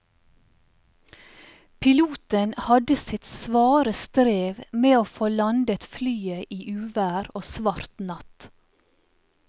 Piloten hadde sitt svare strev med å få landet flyet i uvær og svart natt.